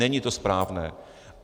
Není to správné.